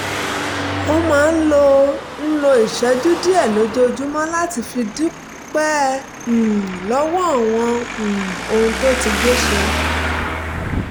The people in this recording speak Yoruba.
ó máa ń lo ń lo ìṣẹ́jú díẹ̀ lójoojúmọ́ láti fi dúpẹ́ um lọ́wọ́ àwọn um ohun tó ti gbé ṣe